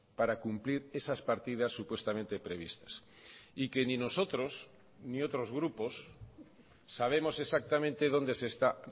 para cumplir esas partidas supuestamente previstas y que ni nosotros ni otros grupos sabemos exactamente dónde se está